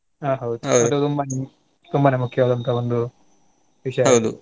ಹಾ ಹೌದು ಹೊಟ್ಟೆ ತುಂಬಾನೇ ತುಂಬಾನೇ ಮುಖ್ಯವಾದಂತ ಒಂದು ವಿಷಯ .